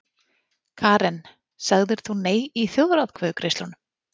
Karen: Sagðir þú nei í þjóðaratkvæðagreiðslunum?